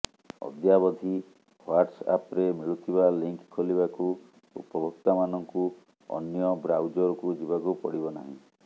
ଅଦ୍ୟାବଧି ହ୍ୱାଟସ୍ ଆପ୍ରେ ମିଳୁଥିବା ଲିଙ୍କ ଖୋଲିବାକୁ ଉପଭୋକ୍ତାମାନଙ୍କୁ ଅନ୍ୟ ବ୍ରାଉଜରକୁ ଯିବାକୁ ପଡିବ ନାହିଁ